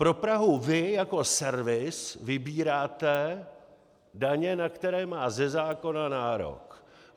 Pro Prahu vy jako servis vybíráte daně, na které má ze zákona nárok.